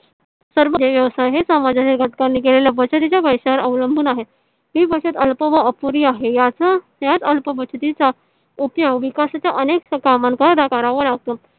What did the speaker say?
हे व्यवसाय हे समजच्या घटकांनी केलेल्या हे बचत च्या पैसीयावर अवलंबून आहे. हे बचतअल्प व अपुरी आहे. याचा त्या अल्प बछतीचा उपयोग विकासाच्या अनेक कामाकरिता करावा लागतो.